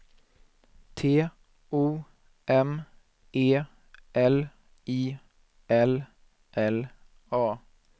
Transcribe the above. T O M E L I L L A